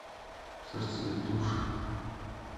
сердце и души